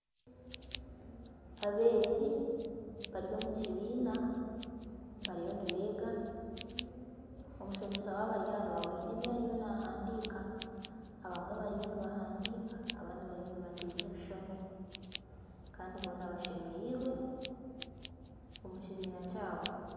Abeegi bari omukibiina bariyo nibeega, omushomesa waabo ari aha rubaaho hiine ebi ariyo nahandiika abamwe bariyo nibahandiika abandi bariyo nibateeza ebishushani Kandi boona bashemereirwe omu kibiina kyabo.